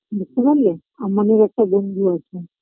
বুঝতে পারলে আমানের একটা বন্ধু আছে